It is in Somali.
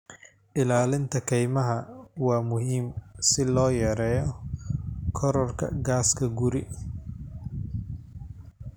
Ilaalinta kaymaha waa muhiim si loo yareeyo kororka gaaska guri.